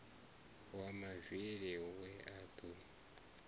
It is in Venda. wa mavili we a do